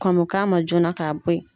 Kɔmɔn kama joona ka bɔ yen.